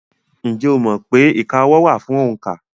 Ǹjẹ́ o mọ̀ pé ìka ọwọ́ wà fún òǹkà?